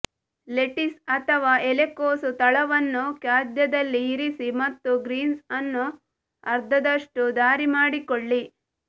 lettuce ಅಥವಾ ಎಲೆಕೋಸು ತಳವನ್ನು ಖಾದ್ಯದಲ್ಲಿ ಇರಿಸಿ ಮತ್ತು ಗ್ರೀನ್ಸ್ ಅನ್ನು ಅರ್ಧದಷ್ಟು ದಾರಿ ಮಾಡಿಕೊಳ್ಳಿ